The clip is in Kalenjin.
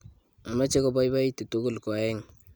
ameche kobaibaitu tugul ko oeng'